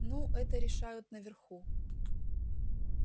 ну это решают наверху